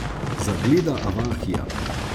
Zagleda avahija.